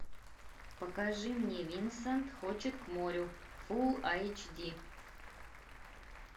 покажи мне винсент хочет к морю фул эйч ди